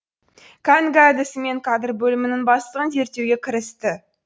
кәнігі әдісімен кадр бөлімінің бастығын зерттеуге кірісті